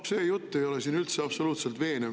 No see jutt ei ole siin absoluutselt veenev.